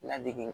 Ladege